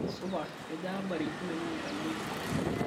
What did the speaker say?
supa kejaa abari oloingange tena wiki